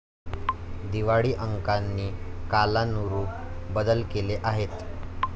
दिवाळी अंकांनी कालानुरूप बदल केले आहेत.